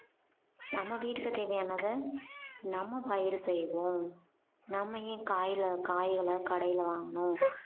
நம்ம வீட்ல தேவையானதை நம்ம பயிறு செய்வோம் நம்ம ஏன் காய்ல~ காய்களை கடையில வாங்கணும்